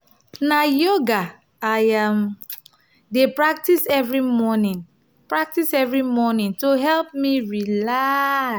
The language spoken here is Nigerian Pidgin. na yoga i um dey practice every morning practice every morning to help me relax.